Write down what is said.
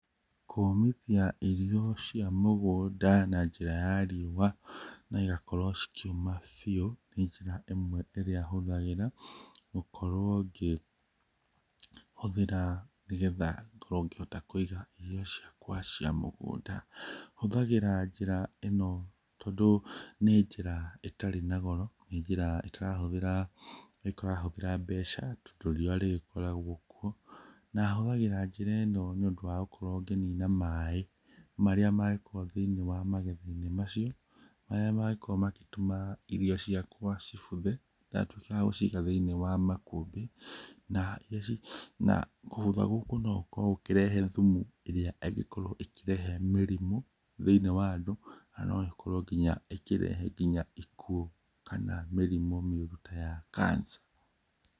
Kũmithia irio cia mũgũnda na njĩra ya riũa na igakorwo cikĩũma biũ nĩ njĩra ĩmwe ĩrĩa hũthagĩra gũkorwo ngĩhũthĩra nĩgetha ngorwo ngĩhota kũiga irio ciakwa cia mũgũnda. Hũthagĩra njĩra ĩno tondũ nĩ njĩra ĩtarĩ na goro, nĩ njĩra ĩtarahũthĩra mbeca tondũ riũa rĩgĩkoragwo kuo, na hũthagĩra njĩra ĩno nĩ ũndũ wa gũkorwo ngĩnina maĩ marĩa mekuo thĩinĩ wa magetha-inĩ macio marĩa mangĩkorwo magĩtũma irio ciakwa cibuthe ndatuĩka wa gũciiga thĩinĩ wa makũmbĩ, na gũbutha gũkũ no gũkorwo gũkĩrehe thumu ĩrĩa ĩngĩkorwo ĩkĩrehe mĩrimũ thĩniĩ wa andũ na no ĩkorwo nginya ĩkĩrehe nginya ikuũ kana mĩrimũ mĩũru ta ya cancer.